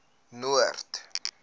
noord